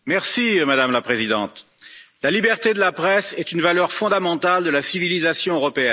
Madame la Présidente, la liberté de la presse est une valeur fondamentale de la civilisation européenne.